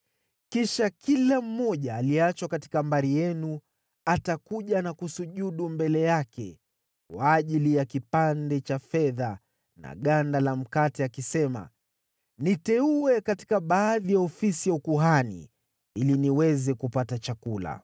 Kisha kila mmoja aliyeachwa katika mbari yenu atakuja na kusujudu mbele yake kwa ajili ya kipande cha fedha na ganda la mkate akisema, “Niteue katika baadhi ya ofisi ya ukuhani ili niweze kupata chakula.” ’”